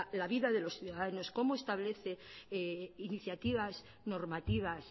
la vida de los ciudadanos cómo establece iniciativas normativas